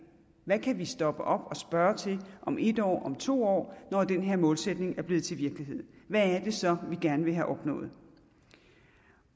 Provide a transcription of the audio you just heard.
hvad kan vi stoppe op og spørge til om en år om to år når den her målsætning er blevet til virkelighed hvad er det så vi gerne vil have opnået